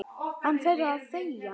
Hann verður að þegja.